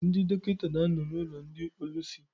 Ndị dọkịta na-ano n' ụlọ ndị ólúsi.